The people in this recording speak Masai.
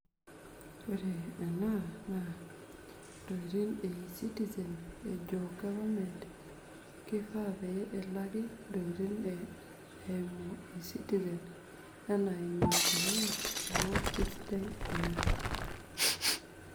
Too short